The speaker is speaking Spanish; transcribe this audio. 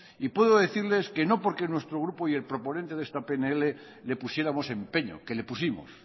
y puedo decirles que no porque nuestro grupo y el proponente de esta pnl le pusiéramos empeño que le pusimos